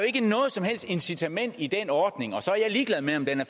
ikke noget som helst incitament i den ordning og så er jeg ligeglad med om den